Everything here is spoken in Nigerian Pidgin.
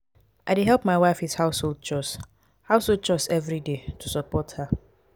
i dey help my wife with household chores household chores every day to support her.